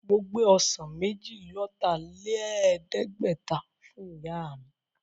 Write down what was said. Mo gbé ọsàn méjì-lọ́tà-lẹ̀ẹ́dẹ́gbẹ̀ta fún Ìyá mi